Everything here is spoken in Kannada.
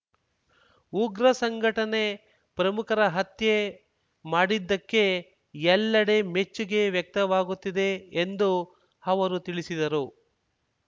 ಉಗ್ರ ಸಂಘಟನೆ ಪ್ರಮುಖರ ಹತ್ಯೆ ಮಾಡಿದ್ದಕ್ಕೆ ಎಲ್ಲೆಡೆ ಮೆಚ್ಚುಗೆ ವ್ಯಕ್ತವಾಗುತ್ತಿದೆ ಎಂದು ಅವರು ತಿಳಿಸಿದರು